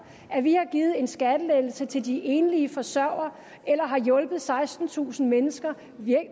at vi har givet en skattelettelse til de enlige forsørgere eller har hjulpet sekstentusind mennesker